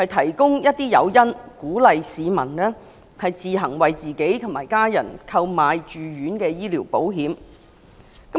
當局建議提供誘因，鼓勵市民自行為自己及家人購買住院醫療保險。